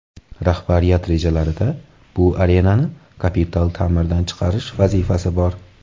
Rahbariyat rejalarida bu arenani kapital ta’mirdan chiqarish vazifasi bor.